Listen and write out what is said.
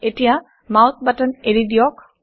এতিয়া mouse button এৰি দিয়ক